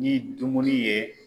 Ni dumuni ye